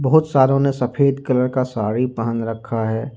बहुत सारो में सफेद कलर का साड़ी पहन रखा है।